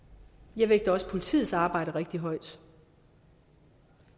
jeg vægter også politiets arbejde rigtigt højt